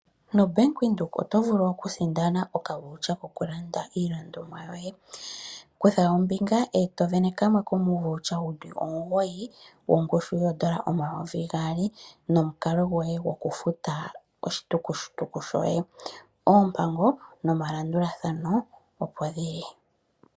NoBank Windhoek oto vulu oku sindana okakalata ko ku landa iilandomwa yoye. Kutha ombinga eto vene kamwe komuukalata wuli omugoyi wongushu yoondola omayovi gaali nomukalo gwoye gwokufuta oshitukutuku shoye. Oompango nomalandulathano opo dhili.